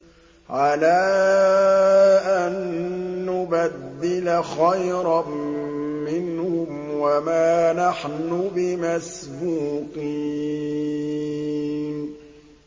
عَلَىٰ أَن نُّبَدِّلَ خَيْرًا مِّنْهُمْ وَمَا نَحْنُ بِمَسْبُوقِينَ